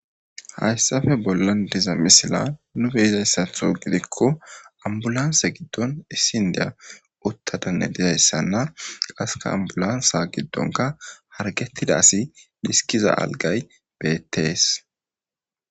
Haysape bolan de'iza misilen nu be'izasato gidiko ambulance gidon isi inda uthadane dizaysana qaseka ambulance gidonka hargetiza asi dhiskiza algay beetes.